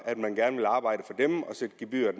at man gerne ville arbejde for dem og sætte gebyret